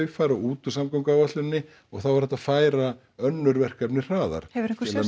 fara út úr samgönguáætluninni og þá er hægt að færa önnur verkefni hraðar hefurðu einhver